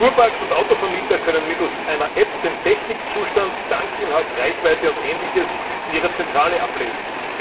Fuhrparks und Autovermieter können mittels einer App Technikzustand, Tankinhalt, Reichweite und Ähnliches in ihrer Zentrale ablesen.